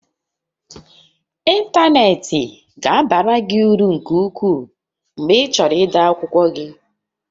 Ịntanetị ga-abara gị uru nke ukwuu mgbe ịchọrọ ide akwụkwọ gị